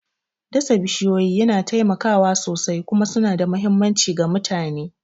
Dasa bishiyoyi yana taimakawa sosai kuma suna da mahimmanci ga mutane.